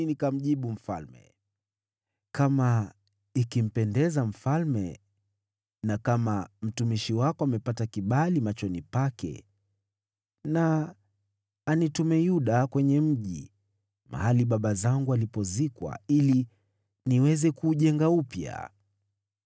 na nikamjibu mfalme, “Kama ikimpendeza mfalme, na kama mtumishi wako amepata kibali machoni pake, anitume kule mji wa Yuda, mahali baba zangu walipozikwa, ili niweze kuujenga upya.”